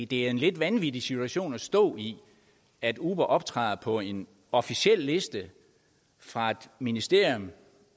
det er en lidt vanvittig situation at stå i at uber optræder på en officiel liste fra et ministerium